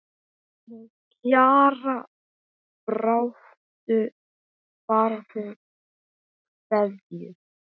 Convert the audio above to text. Með Kjara baráttu kveðju.